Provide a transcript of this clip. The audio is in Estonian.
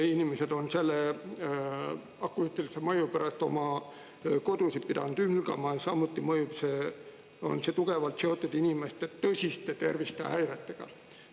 Inimesed on selle akustilise mõju pärast oma kodusid pidanud hülgama, samuti on see tugevalt seotud inimeste tõsiste tervisehäiretega.